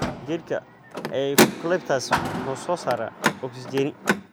Geedka eucalyptus wuxuu soo saaraa oksijeni.